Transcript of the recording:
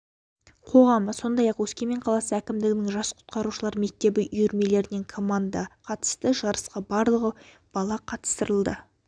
қоғамы сондай-ақ өскемен қаласы әкімдігінің жас құтқарушылар мектебі үйірмелерінен команда катысты жарысқа барлығы бала қатыстырылды